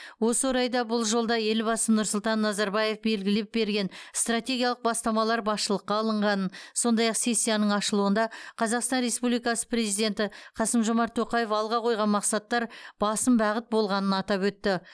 осы орайда бұл жолда елбасы нұрсұлтан назарбаев белгілеп берген стратегиялық бастамалар басшылыққа алынғанын сондай ақ сессияның ашылуында қазақстан республикасы президенті қасым жомарт тоқаев алға қойған мақсаттар басым бағыт болғанын атап өтті